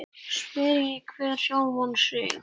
Spyrji hver sjálfan sig.